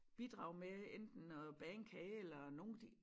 Bidrage med enten at bage en kage eller nogen de